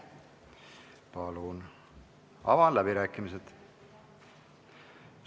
Avan läbirääkimised.